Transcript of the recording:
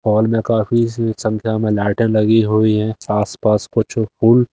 hall में काफी संख्या में लाइटें लगी हुई है आसपास कुछ फूल--